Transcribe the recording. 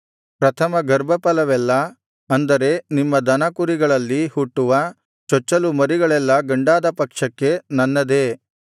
ಪ್ರಥಮ ಗರ್ಭಫಲವೆಲ್ಲಾ ಅಂದರೆ ನಿಮ್ಮ ದನ ಕುರಿಗಳಲ್ಲಿ ಹುಟ್ಟುವ ಚೊಚ್ಚಲು ಮರಿಗಳೆಲ್ಲಾ ಗಂಡಾದ ಪಕ್ಷಕ್ಕೆ ನನ್ನದೇ